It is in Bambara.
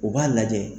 U b'a lajɛ